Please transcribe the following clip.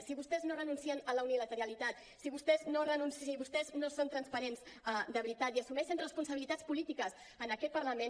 si vostès no renuncien a la unilateralitat si vostès no són transparents de veritat i assumeixen responsabilitats polítiques en aquest parlament